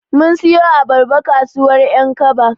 Mun siyo abarba kasuwar ƴankaba.